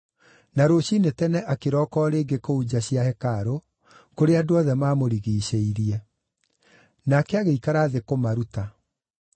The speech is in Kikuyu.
Na rũciinĩ tene akĩroka o rĩngĩ kũu nja cia hekarũ, kũrĩa andũ othe maamũrigiicĩirie. Nake agĩikara thĩ kũmaruta.